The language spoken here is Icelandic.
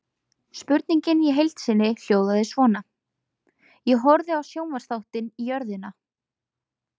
Spurningin í heild sinni hljóðaði svona: Ég horfði á sjónvarpsþáttinn Jörðina.